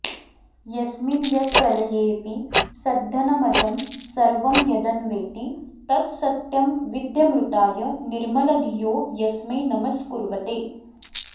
यस्मिन् यत् प्रलयेऽपि सद्घनमजं सर्वं यदन्वेति तत् सत्यं विध्यमृताय निर्मलधियो यस्मै नमस्कुर्वते